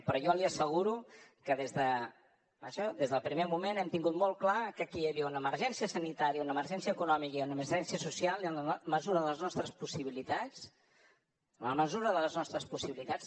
però jo li asseguro que des d’això des del primer moment hem tingut molt clar que aquí hi havia una emergència sanitària una emergència econòmica i una emergència social i en la mesura de les nostres possibilitats en la mesura de les nostres possibilitats